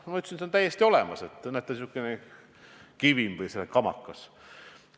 Ma ütlesin, et näete, selline kivim või kamakas on täiesti olemas.